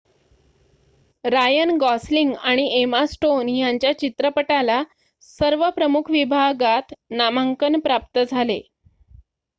रायन गॉस्लिंग आणि Emma Stone यांच्या चित्रपटाला सर्व प्रमुख विभागात नामांकन प्राप्त झाले